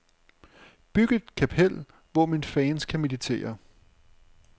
Byg et kapel, hvor mine fans kan meditere.